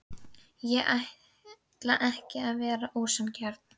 Ég ætlaði ekki að vera ósanngjarn.